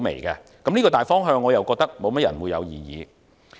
我認為這個大方向沒有人會有異議。